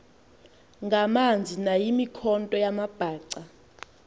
ngamanzi nayimikhonto yamabhaca